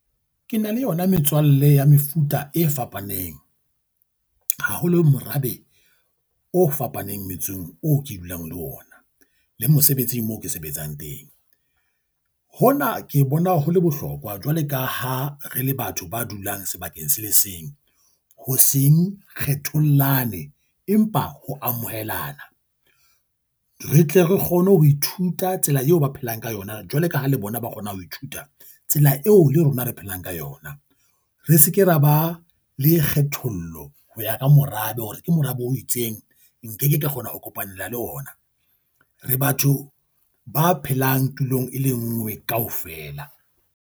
Ke na le yona metswalle ya mefuta e fapaneng. Haholo morabe o fapaneng metsong oo ke dulang le ona le mosebetsing moo ke sebetsang teng. Hona ke bona ho le bohlokwa jwale ka ha re le batho ba dulang sebakeng se le seng. Ho seng kgethollane empa ho amohelana. Re tle re kgone ho ithuta tsela eo ba phelang ka yona jwale ka ha le bona ba kgona ho ithuta tsela eo le rona re phelang ka yona. Re se ke ra ba le kgethollo ho ya ka morabe hore ke morabe o itseng, nke ke ka kgona ho kopanela le ona. Re batho ba phelang tulong e le nngwe kaofela.